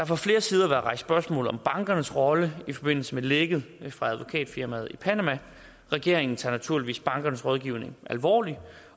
fra flere sider været rejst spørgsmål om bankernes rolle i forbindelse med lækket fra advokatfirmaet i panama regeringen tager naturligvis bankernes rådgivning alvorligt